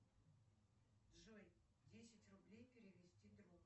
джой десять рублей перевести другу